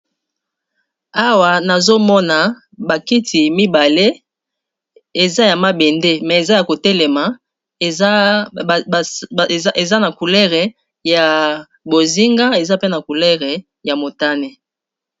awa nazomona bakiti mibale eza ya mabende me eza ya kotelema eza na coulere ya bozinga eza pe na coulere ya motane